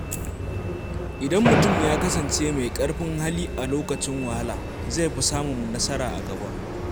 Idan mutum ya kasance mai ƙarfin hali a lokacin wahala, zai fi samun nasara a gaba.